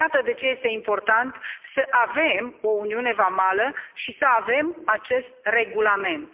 Iată de ce este important să avem o uniune vamală și să avem acest regulament.